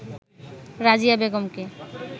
রাজিয়া বেগমকে